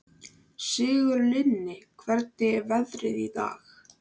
Sigurlinni, hvernig er veðrið í dag?